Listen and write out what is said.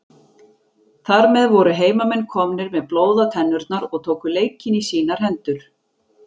Þar með voru heimamenn komnir með blóð á tennurnar og tóku leikinn í sínar hendur.